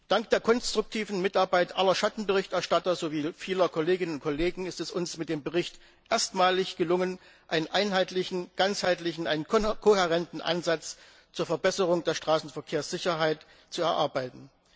Dank der konstruktiven Mitarbeit aller Schattenberichterstatter sowie vieler Kolleginnen und Kollegen ist es uns mit dem Bericht erstmalig gelungen, einen einheitlichen, ganzheitlichen, kohärenten Ansatz zur Verbesserung der Straßenverkehrssicherheit zu erarbeiten.